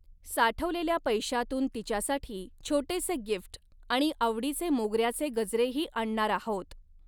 साठवलेल्या पैश्यातून तिच्यासाठी छोटेसे गिफ्ट आणि आवडीचे मोगर्याचे गजरेही आणणार आहोत.